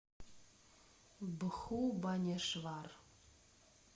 бхубанешвар